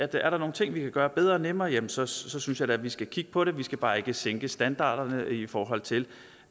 der nogle ting vi kan gøre bedre og nemmere jamen så så synes jeg da vi skal kigge på det vi skal bare ikke sænke standarderne i forhold til